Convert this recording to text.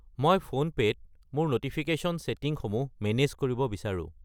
মই ফোনপে' ত মোৰ ন'টিফিকেশ্যন ছেটিংসমূহ মেনেজ কৰিব বিচাৰো।